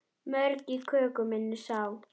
Mörg í köku minni sá.